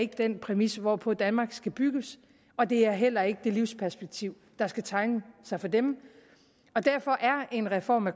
den præmis hvorpå danmark skal bygges og det er heller ikke det livsperspektiv der skal tegne sig for dem derfor er en reform af